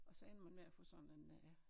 Og så ender man med at få sådan en øh